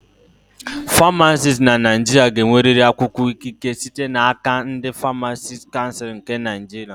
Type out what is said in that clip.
Famacisti na Naịjirịa ga-enwerịrị akwụkwọ ikike site n'aka ndị Famacisti Kansul nke Naịjirịa